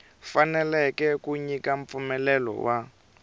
fanekele ku nyika mpfumelelo wa